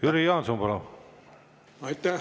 Jüri Jaanson, palun!